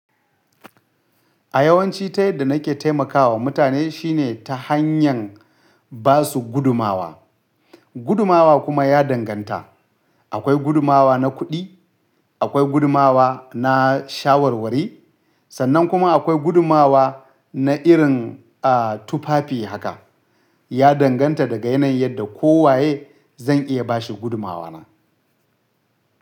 A yawanci ta yadda na ke taimakawa mutane shine ta hanyan ba su gudumawa. Gudumawa kuma ya danganta. Akwai gudumawa na kuɗi, akwai gudumawa na shawarwari, sannan kuma akwai gudumawa na irin, a, tufafi haka. Ya danganta da ga yanayin yadda kowaye zan iya ba shi gudumawa na.